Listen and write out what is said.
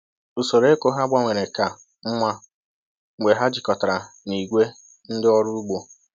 Usoro ịkụ ha gbanwere ka mma mgbe ha jikọtara na ìgwè ndị ọrụ ugbo